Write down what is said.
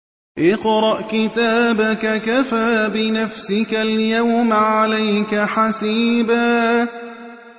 اقْرَأْ كِتَابَكَ كَفَىٰ بِنَفْسِكَ الْيَوْمَ عَلَيْكَ حَسِيبًا